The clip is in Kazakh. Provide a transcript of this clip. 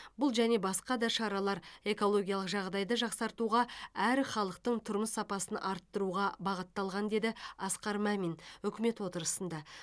бұл және басқа да шаралар экологиялық жағдайды жақсартуға әрі халықтың тұрмыс сапасын арттыруға бағытталған деді асқар мамин үкімет отырысында